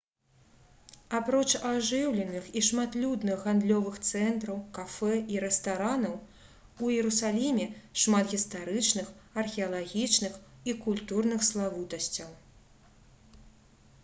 апроч ажыўленых і шматлюдных гандлёвых цэнтраў кафэ і рэстаранаў у іерусаліме шмат гістарычных археалагічных і культурных славутасцяў